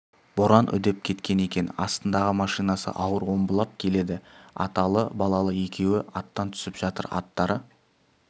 боран үдеп кеткен екен астындағы машинасы ауыр омбылап келеді аталы балалы екеуі аттан түсіп жатыр аттары